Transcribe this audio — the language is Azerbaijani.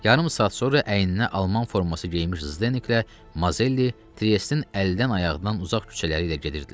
Yarım saat sonra əyninə alman forması geyinmiş Zdeneklə Mazelli Triestin əldən-ayaqdan uzaq küçələri ilə gedirdilər.